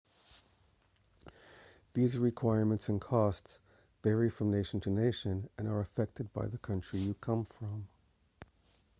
visa requirements and costs vary from nation to nation and are affected by the country you come from